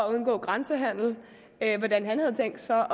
at undgå grænsehandel hvordan han havde tænkt sig